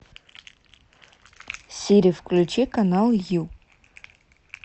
сири включи канал ю